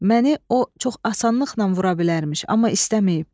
Məni o çox asanlıqla vura bilərmiş, amma istəməyib.